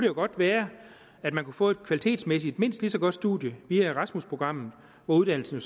jo godt være at man kunne få et kvalitetsmæssigt mindst lige så godt studie via erasmusprogrammet hvor uddannelsen